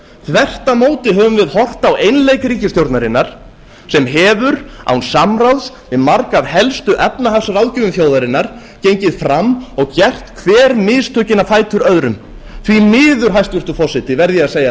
þvert á móti höfum við horft á einleik ríkisstjórnarinnar sem hefur án samráðs við marga af helstu efnahagsráðgjöfum þjóðarinnar gengið fram og gert hver mistökin á fætur öðrum því miður hæstvirtur forseti verð ég að segja